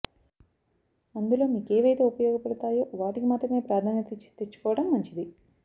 అందులో మీకేవైతే ఉపయోగపడుతాయో వాటికి మాత్రమే ప్రాధాన్యత ఇచ్చి తెచ్చుకోవడం మంచిది